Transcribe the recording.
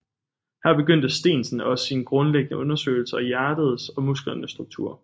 Her begyndte Steensen også sine grundlæggende undersøgelser af hjertets og musklernes struktur